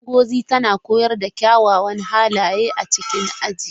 Ngozi tana koyar da kyawawan halaye a cikin aji.